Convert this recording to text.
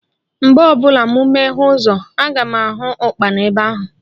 Mgbe ọbụla mụ meghee ụzọ, aga m ahụ Ụkpana ebe ahụ